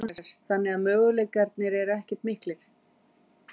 Jóhannes: Þannig að möguleikarnir eru ekkert miklir?